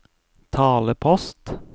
talepost